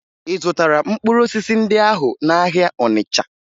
Ị zụtara mkpụrụ osisi ndị ahụ n'ahịa Ọnịcha?